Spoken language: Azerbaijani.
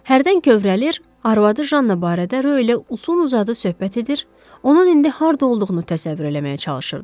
Hərdən kövrəlir, arvadı Jan barədə röylə uzun-uzadı söhbət edir, onun indi harda olduğunu təsəvvür eləməyə çalışırdı.